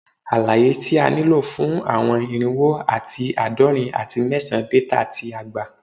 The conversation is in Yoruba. Alaye ti a nilo fun awọn irinwo ati aadọrin ati mẹsan data ti a gba